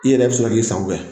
I yɛrɛ bɛ sɔrɔ ki sago kɛ.